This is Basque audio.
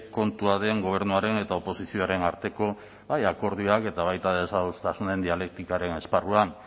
kontua den gobernuaren eta oposizioaren arteko bai akordioak eta baita desadostasunen dialektikaren esparruan